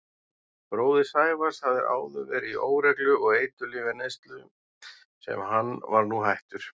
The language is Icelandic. Bróðir Sævars hafði áður verið í óreglu og eiturlyfjaneyslu sem hann var nú hættur.